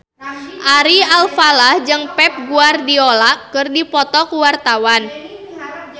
Ari Alfalah jeung Pep Guardiola keur dipoto ku wartawan